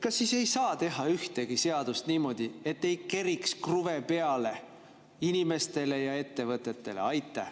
Kas siis ei saa teha ühtegi seadust niimoodi, et ei keriks kruvisid peale inimestele ja ettevõtetele?